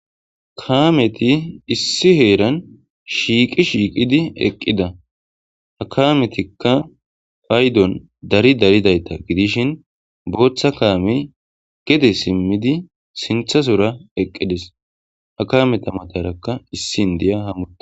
kaameti issi heeran shiiqi shiiqidi eqqida akaametikka faydon dari daridayta gidishin booththa kaame gede simmidi sinthasora eqqides a kameta matarakka issi ndiya hamu